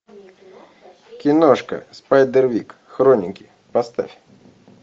киношка спайдервик хроники поставь